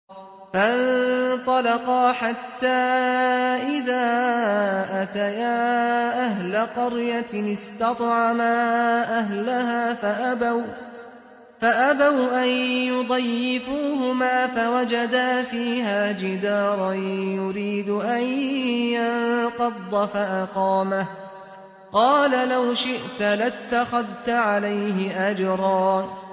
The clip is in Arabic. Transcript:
فَانطَلَقَا حَتَّىٰ إِذَا أَتَيَا أَهْلَ قَرْيَةٍ اسْتَطْعَمَا أَهْلَهَا فَأَبَوْا أَن يُضَيِّفُوهُمَا فَوَجَدَا فِيهَا جِدَارًا يُرِيدُ أَن يَنقَضَّ فَأَقَامَهُ ۖ قَالَ لَوْ شِئْتَ لَاتَّخَذْتَ عَلَيْهِ أَجْرًا